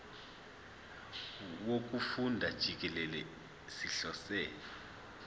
wokufunda jikelele sihlose